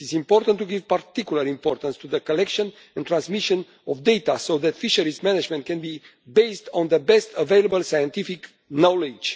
It is important to give particular importance to the collection and transmission of data so that fisheries management can be based on the best available scientific knowledge.